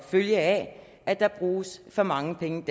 følge af at der bruges for mange penge